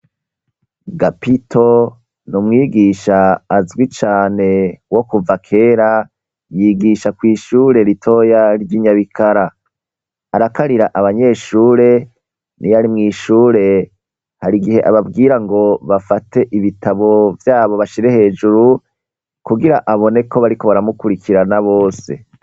Gapito ni umwigisha azwi cane wo kuva kera yigisha kwishure ritoya ryi Nyabikara arakarira abanyeshure niyari mwishure hari igihe ababwira ngo bafate ibitabo vyabo bashire hejuru kugira aboneko bariko baramukurikirana bose.